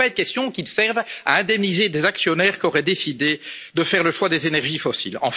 Il ne peut pas être question qu'il serve à indemniser des actionnaires qui auraient décidé de faire le choix des énergies fossiles.